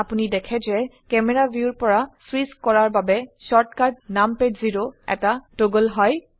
আপোনি দেখে যে ক্যামেৰা ভিউৰ পৰা সুইচ কৰাৰ বাবে শৰ্টকাট নামপাদ জেৰ এটা টগল হয়